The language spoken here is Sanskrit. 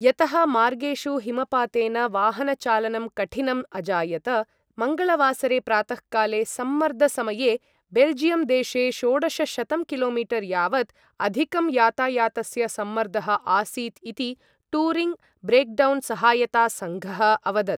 यतः मार्गेषु हिमपातेन वाहनचालनं कठिनम् अजायत, मङ्गलवासरे प्रातःकाले सम्मर्द समये बेल्जियं देशे षोडशशतं किलोमीटर् यावत् अधिकं यातायातस्य सम्मर्दः आसीत् इति टूरिङ्ग् ब्रेक्डौन् सहायता सङ्घः अवदत्।